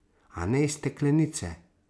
A ne iz steklenice.